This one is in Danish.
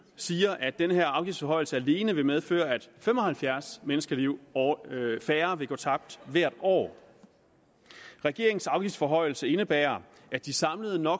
siger at den her afgiftsforhøjelse alene vil medføre at fem og halvfjerds menneskeliv færre vil gå tabt hvert år regeringens afgiftsforhøjelse indebærer at de samlede no